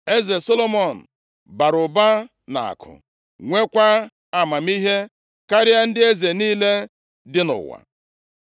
Eze Solomọn bara ụba nʼakụ, nwekwa amamihe karịa ndị eze niile dị nʼụwa.